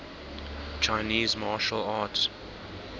chinese martial arts